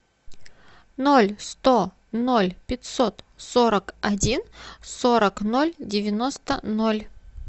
ноль сто ноль пятьсот сорок один сорок ноль девяносто ноль